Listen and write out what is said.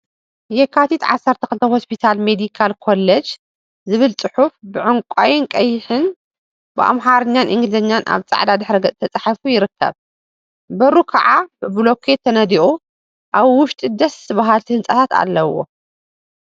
የካቲት 12 ሆስፒታል ሜዲካል ኮሌጅ ዝብል ፅሑፍ ብዕንቋይን ቀይሕን ብአምሓርኛን እንግሊዘኛን አብ ፃዕዳ ድሕረ ገፅ ተፃሒፉ ይርከብ፡፡ በሩ ከዓ ብቡሉኬት ተነዲቁ አብ ውሽጢ ደስስስ በሃልቲ ህንፃታት አለው፡፡